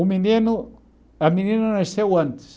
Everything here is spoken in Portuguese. O menino, a menina nasceu antes.